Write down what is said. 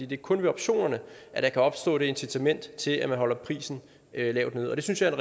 det er kun ved optionerne der kan opstå et incitament til at man holder prisen lavt nede og det synes jeg er